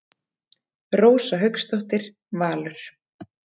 Rósa Hauksdóttir, Valur.